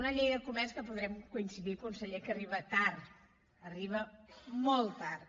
una llei de comerç que podrem coincidir conseller que arriba tard arriba molt tard